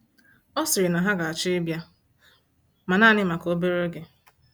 Ọ sịrị na ha ga-achọ ịbịa, ma naanị maka obere oge.